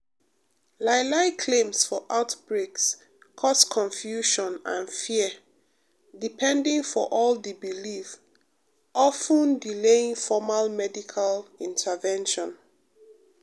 lie-lie claims for outbreaks cause confusion and fear depending for di belief of ten delaying formal medical intervention.